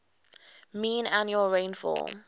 mean annual rainfall